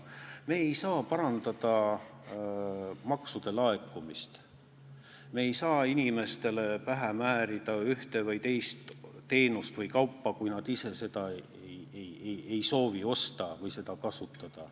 Me ei saa parandada maksude laekumist, me ei saa ka inimestele pähe määrida ühte või teist teenust või kaupa, kui nad ise seda ei soovi osta/kasutada.